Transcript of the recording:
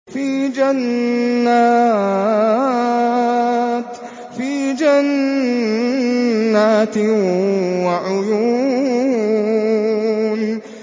فِي جَنَّاتٍ وَعُيُونٍ